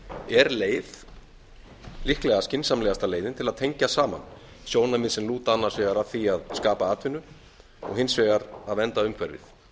er leið líklega skynsamlegasta leiðin til að tengja saman sjónarmið sem lúta annars vegar að því að skapa atvinnu og hins vegar að vernda umhverfið